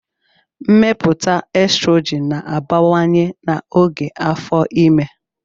Mmepụta estrogin na-abawanye n'oge afọ ime.